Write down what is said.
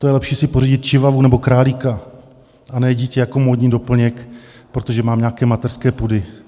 To je lepší si pořídit čivavu nebo králíka, a ne dítě jako módní doplněk, protože mám nějaké mateřské pudy.